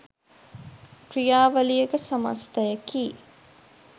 ක්‍රියාවලියක සමස්ථයකි.